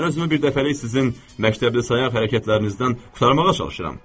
Mən özümü birdəfəlik sizin məktəbsiz hərəkətlərinizdən qurtarmağa çalışıram.